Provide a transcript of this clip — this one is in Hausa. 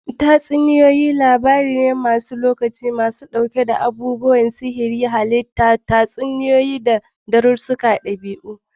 Tatsuniyoyi labaru ne maras lokaci masu ɗauke da abubuwan sihiri, halittun tatsuniyoyi, da darussan ɗabi'a.